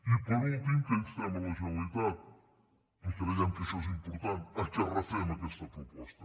i per últim que instem la generalitat i creiem que això és important que refem aquesta proposta